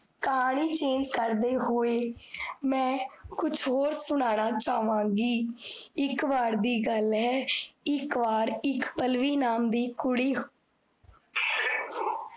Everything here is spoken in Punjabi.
ਕਹਾਨੀ change ਕਰਦੇ ਹੋਏ, ਮੈਂ ਕੁਛ ਹੋਰ ਸੁਨਾਨਾ ਚਾਹ੍ਵਾਂਗੀ ਇਕ ਵਾਰ ਦੀ ਗੱਲ ਹੈ, ਇਕ ਵਾਰ ਇਕ ਪਲ੍ਲਵੀ ਨਾਮ ਦੀ ਕੁੜੀ